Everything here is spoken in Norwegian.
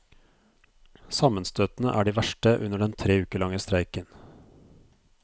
Sammenstøtene er de verste under den tre uker lange streiken.